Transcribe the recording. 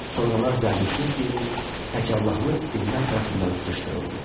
Sonralar Zərdüştlük dini tək Allahlıq dinlər tərəfindən sıxışdırıldı.